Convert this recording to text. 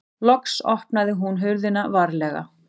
Loks opnaði hún hurðina varlega.